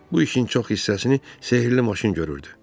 Bu işin çox hissəsini sehrli maşın görürdü.